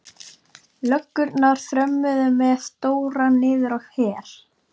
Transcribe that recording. Löggurnar þrömmuðu með Dóra niður á Her.